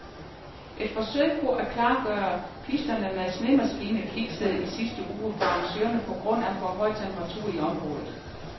Et forsøg på at klargøre pisterne med snemaskiner kiksede i sidste uge for arrangørerne på grund af for høje temperaturer i området.